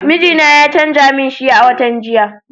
Mijina ya canza min shi a watan jiya.